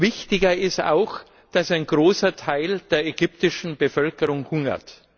Wichtiger ist auch, dass ein großer Teil der ägyptischen Bevölkerung hungert.